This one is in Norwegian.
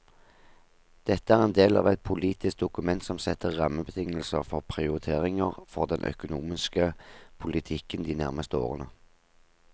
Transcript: Dette er en del av et politisk dokument som setter rammebetingelser for prioriteringer for den økonomiske politikken de nærmeste årene.